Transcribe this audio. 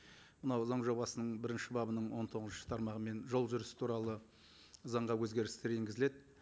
мынау заң жобасының бірінші бабының он тоғызыншы тармағымен жол жүрісі туралы заңға өзгерістер енгізіледі